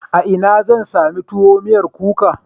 A ina zan sami tuwo miyar kuka?